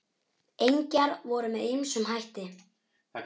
Engjar voru með ýmsum hætti.